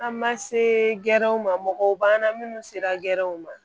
An ma se gɛrɛw ma mɔgɔw b'an na minnu sera gɛrɛnw ma